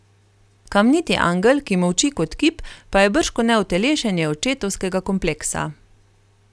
Kamniti angel, ki molči kot kip, pa je bržkone utelešenje očetovskega kompleksa.